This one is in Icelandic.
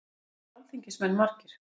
Hvað eru alþingismenn margir?